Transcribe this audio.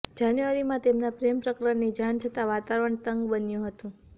જાન્યુઆરીમાં તેમના પ્રેમપ્રકરણની જાણ થતાં વાતાવરણ તંગ બન્યું હતું